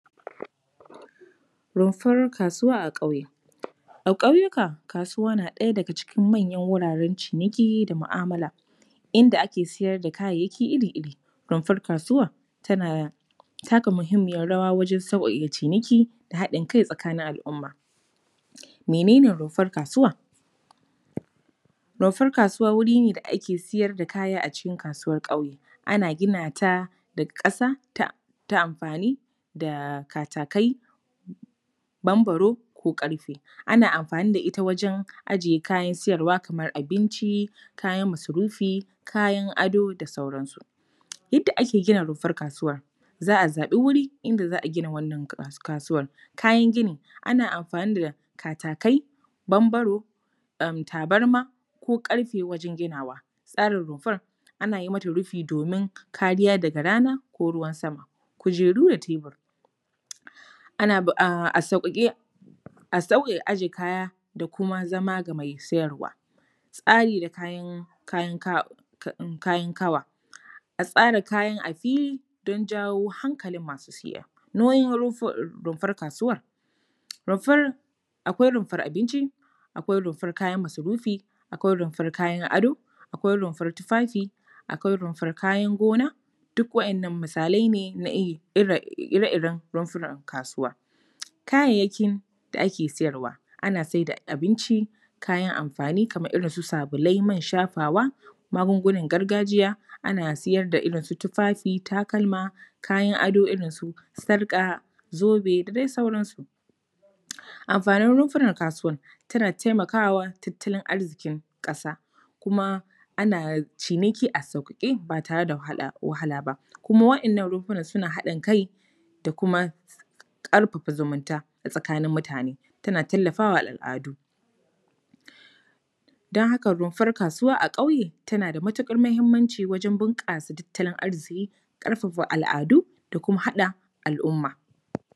Rumfar kasuwa a ƙauye. A ƙauyuka, kasuwa na ɗaya daga cikin manyan wuraren ciniki da mu’amala, inda ake siyar da kayayyaki iri-iri. Rumfar kasuwa tana taka muhimmiyar rawa wajen sauƙaƙe ciniki da haɗin kai tsakanin al’umma. Mene ne rumfar kasuwa? Rumfar kasuwa wuri ne da ake siyar da kaya a cikin kasuwar ƙauye. Ana gina ta da ƙasa ta amfani da katakai, bambaro ko ƙarfe. Ana amfani da ita wajen aje kayan siyarwa kamar abinci, kayan masarufi, kayan ado da sauransu. Yadda ake gina rumfar kasuwa:- za a zaɓi wuri, inda za a gina wannan kasuwar. Kayan ginin:- ana amfani da katakai, bambaro, tabarma ko ƙarfe wajen ginawa. Tsarin rumfar:- ana yi mata rufi domin kariya daga rana ko ruwan sama. Kujeru da tebur:- a sauƙaƙe, a sauƙaƙe kaya da kuma zama ga mai siyarwa. Tsari da kayan kaba:- a tsara kayan a fili don jawo hankalin masu siya. Nauyin rumfar kasuwar:- rumfar, akwai rumfar abinci, akwai rumfar kayan masarufi, akwai rumfar kayan ado, akwai rumfar tufafi, akwai rumfar kayan gona, duk waɗannan misalai ne na ire-iren rumfunan kasuwa. Kayayyakin da ake siyarwa:- ana sai da abinci, kayan amfani kamar irin su sabulai, man shafawa, magungunan gargajiya, ana siyar da irin su tufafi, takalma, kayan ado irin su sarƙa, zobe da dai sauransu. Amfanin rumfunan kasuwa:- tana taimaka wa tattalin arzikin ƙasa kuma ana ciniki a sauƙaƙe ba tare da wahala ba. Kuma waɗannan rumfunan suna haɗin kai da kuma ƙarfafa zumunta tsakanin mutane. Tana tallafa wa al’adu. Don haka rumfar kasuwa a ƙauye, tana da matuƙar muhimmanci wajen bunƙasa tattalin arziki, ƙarfafa al’adu da kuma haɗa al’umma.